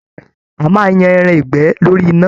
A máa n yan ẹran ìgbẹ́ lórí iná.